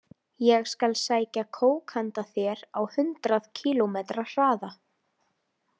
Ég skal sækja kók handa þér á hundrað kílómetra hraða.